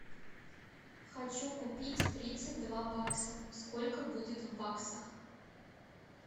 хочу купить тридцать два бакса сколько будет в баксах